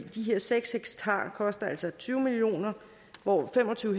her seks hektar koster altså tyve million kr hvor fem og tyve